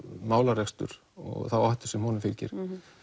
málarekstur og þá áhættu sem honum fylgir